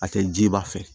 A tɛ jiba fɛ